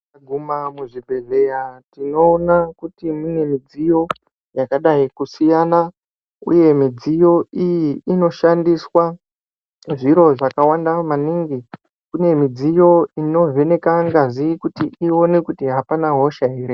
Tikaguma muzvibhedhleya, tinoona kuti mune midziyo, yakadai kusiyana, uye mudziyo iyi, inoshandiswa zviro zvakawanda maningi, kune midziyo inovheneka ngazi kuti ione kuti apana hosha ere?